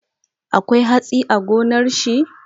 Akwai hatsi a gonar shi?